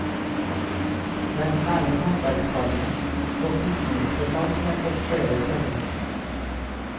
Det er særlig håndverksfagene og kunstneriske fag som har fått flere søkere.